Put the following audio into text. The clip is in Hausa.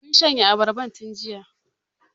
Mun shanye abarbar tun jiya.